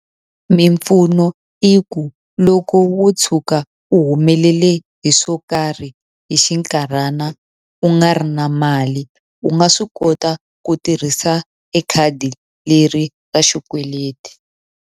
Mimpfuno i ku loko wo tshuka u humelele hi swo karhi hi xinkarhana u nga ri na mali, u nga swi kota ku tirhisa e khadi leri ra xikweleti.